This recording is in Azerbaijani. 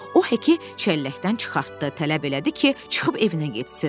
O Heki çəlləkdən çıxartdı, tələb elədi ki, çıxıb evinə getsin.